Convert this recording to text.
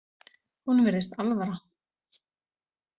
Honum virðist alvara.